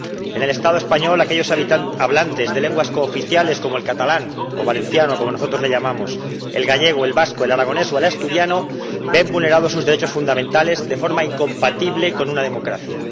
En el Estado español, aquellos hablantes de lenguas cooficiales, como el catalán o valenciano —como nosotros lo llamamos—, el gallego, el vasco, el aragonés o el asturiano, ven vulnerados sus derechos fundamentales de forma incompatible con una democracia.